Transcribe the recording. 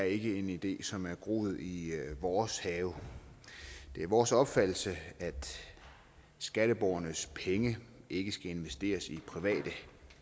ikke er en idé som har groet i vores have det er vores opfattelse at skatteborgernes penge ikke skal investeres i private